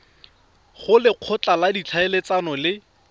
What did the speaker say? go lekgotla la ditlhaeletsano le